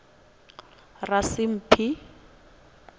rasimphi